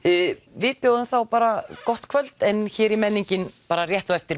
við bjóðum þá bara gott kvöld en hér er menningin rétt á eftir